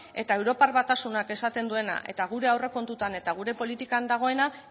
eta europar batasunak esaten duena eta gure aurrekontutan eta gure politikan dagoena